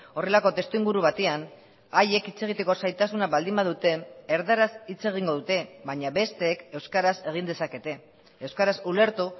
horrelako testuinguru batean haiek hitz egiteko zailtasuna baldin badute erdaraz hitz egingo dute baina besteek euskaraz egin dezakete euskaraz ulertu